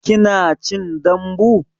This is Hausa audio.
Kina cin dambu?